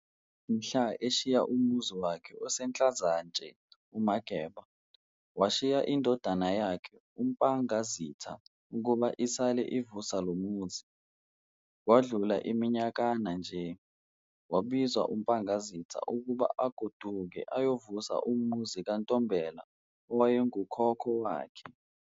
Mhla eshiya umuzi wakhe oseNhlazatshe uMageba, washiya indodana yakhe uMpangazitha ukuba isale ivusa lomuzi. Kwadlula iminyakana-nje, wabizwa uMpangazitha ukuba agoduke ayovusa umuzi kaNtombela owaye ngukhokho wakhe.